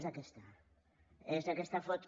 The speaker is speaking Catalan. és aquesta és aquesta foto